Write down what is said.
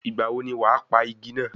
Ìgbà wo ni wàá pa igi náà?